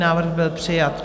Návrh byl přijat.